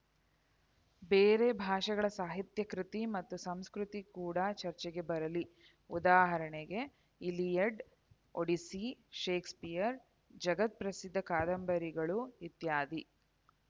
ಬೇರೆ ಭಾಷೆಗಳ ಸಾಹಿತ್ಯ ಕೃತಿ ಮತ್ತು ಸಂಸ್ಕತಿ ಕೂಡ ಚರ್ಚೆಗೆ ಬರಲಿ ಉದಾಜರಣೆಗೆ ಈಲಿಯಡ್‌ ಒಡಿಸ್ಸಿ ಶೇಕ್ಸ್‌ಪಿಯರ್‌ ಜಗತ್‌ಪ್ರಸಿದ್ಧ ಕಾದಂಬರಿಗಳು ಇತ್ಯಾದಿ